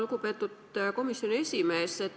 Lugupeetud komisjoni esimees!